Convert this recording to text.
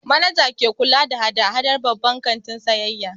Manaja ke kula da hada-hadar babban kantin sayayya.